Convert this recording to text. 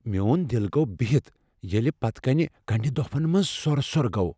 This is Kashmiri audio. میون دِل گو بِہِتھ ییلہِ پتہٕ كٕنہِ كننڈِ دوفن منز سۄر سۄر گۄ ۔